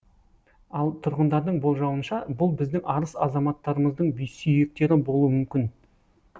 ал тұрғындардың болжауынша бұл біздің арыс азаматтарымыздың сүйектері болуы мүмкін